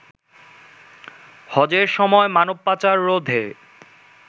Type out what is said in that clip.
হজের সময় মানবপাচার রোধে